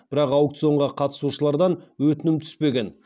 бірақ аукционға қатысушылардан өтінімі түспеген